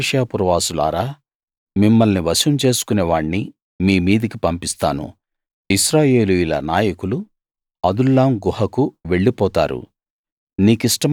Mareshah పురవాసులారా మిమ్మల్ని వశం చేసుకునే వాణ్ణి మీ మీదికి పంపిస్తాను ఇశ్రాయేలీయుల నాయకులు అదుల్లాం గుహకు వెళ్ళిపోతారు